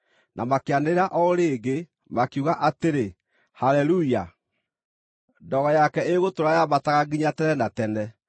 Na makĩanĩrĩra o rĩngĩ, makiuga atĩrĩ: “Haleluya! Ndogo yake ĩgũtũũra yambataga nginya tene na tene.”